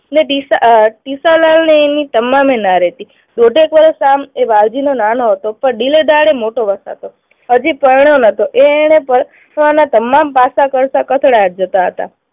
ને ને એની તમામ ન રહેતી. દોઢેક વર્ષ એ આમ વાલજીથી નાનો હતો. પણ દિલદાર એ મોટો હતો. હજી પરણ્યો નહતો. એ એને પરણવાના તમામ પાસા જતા હતા.